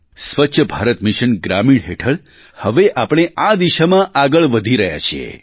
સ્વચ્છ ભારત મિશન ગ્રામીણ હેઠળ હવે આપણે આ દિશામાં આગળ વધી રહ્યા છીએ